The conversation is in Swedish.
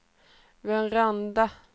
varenda